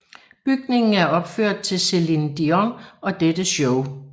Bygningen er opført til Celine Dion og dette show